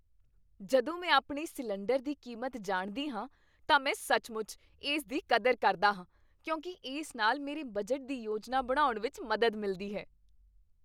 ਜਦੋਂ ਮੈਂ ਆਪਣੀ ਸਿਲੰਡਰ ਦੀ ਕੀਮਤ ਜਾਣਦੀ ਹਾਂ ਤਾਂ ਮੈਂ ਸੱਚਮੁੱਚ ਇਸ ਦੀ ਕਦਰ ਕਰਦਾ ਹਾਂ ਕਿਉਂਕਿ ਇਸ ਨਾਲ ਮੇਰੇ ਬਜਟ ਦੀ ਯੋਜਨਾ ਬਣਾਉਣ ਵਿੱਚ ਮਦਦ ਮਿਲਦੀ ਹੈ।